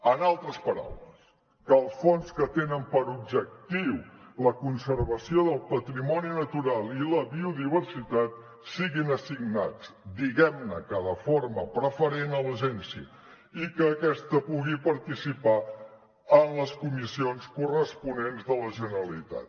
en altres paraules que els fons que tenen per objectiu la conservació del patrimoni natural i la biodiversitat siguin assignats diguem ne que de forma preferent a l’agència i que aquesta pugui participar en les comissions corresponents de la generalitat